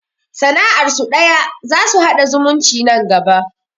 Sana'ar su ɗaya, za su haɗa zumunci nan gaba